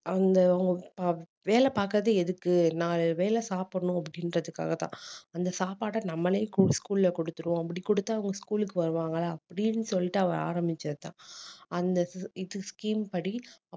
அந்த அவங்க ஆஹ் வேலை பார்க்கிறது எதுக்கு நாலு வேலை சாப்பிடணும் அப்படின்றதுக்காகதான் அந்த சாப்பாடை நம்மளே scho~ school ல குடுத்திருவோம் அப்படி குடுத்தா அவங்க school க்கு வருவாங்களா அப்படின்னு சொல்லிட்டு அவர் ஆரம்பிச்சதுதான் அந்த scheme படி